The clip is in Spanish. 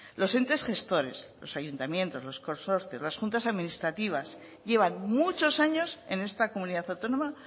los entes gestores los ayuntamientos los consorcios las juntas administrativas llevan muchos años en esta comunidad autónoma